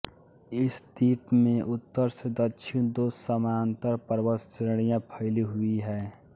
इस द्वीप में उत्तर से दक्षिण दो समांतर पर्वत श्रेणियाँ फैली हुई हैं